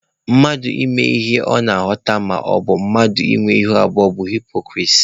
Mmadụ ị na-eme ihe ọ na-akatọ maọbụ mmadụ ịnwe ihu abụọ bụ haịpokrisi